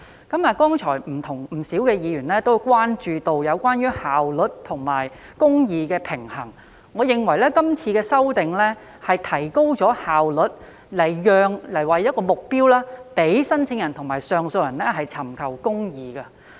剛才不少議員也關注到效率和公義的平衡，我認為今次的修訂能提高效率，並以此作為目標，讓申請人和上訴人尋求公義。